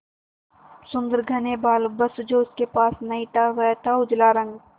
सुंदर घने बाल बस जो उसके पास नहीं था वह था उजला रंग